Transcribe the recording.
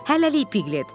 Hələlik Piklet.